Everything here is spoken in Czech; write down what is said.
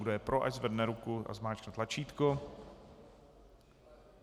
Kdo je pro, ať zvedne ruku a zmáčkne tlačítko.